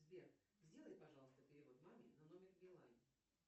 сбер сделай пожалуйста перевод маме на номер билайн